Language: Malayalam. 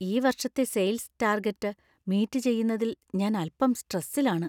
ഈ വർഷത്തെ സെയിൽസ് ടാർഗെറ്റ് മീറ്റ് ചെയ്യുന്നതിൽ ഞാൻ അൽപ്പം സ്ട്രസിൽ ആണ്.